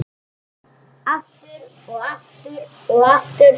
Aftur og aftur og aftur.